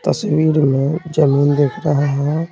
तस्वीर में जमीन दिख रहा है।